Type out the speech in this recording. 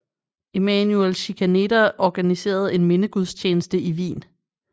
Emanuel Schikaneder organiserede en mindegudstjeneste i Wien